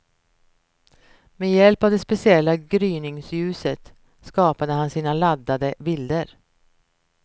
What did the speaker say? Med hjälp av det speciella gryningsljuset skapade han sina laddade bilder.